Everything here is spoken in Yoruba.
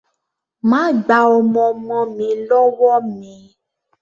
Má gba ọmọ ọmọ mi lọ́wọ́ mi!